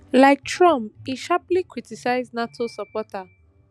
like trump im sharply criticise nato supporter